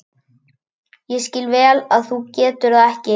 Ég skil vel ef þú getur það ekki.